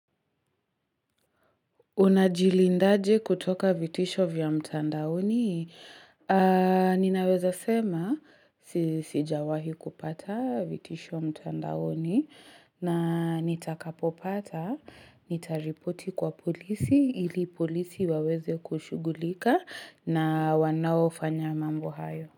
Unajilindaje kutoka vitisho vya mtandaoni? Ninaweza sema sijawahi kupata vitisho mtandaoni na nitakapopata, nitaripoti kwa polisi ili polisi waweze kushugulika na wanao fanya mambo hayo.